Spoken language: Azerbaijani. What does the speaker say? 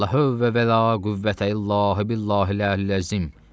Lə həvla və lə qüvvətə illa billahil-əliyyil-əzim.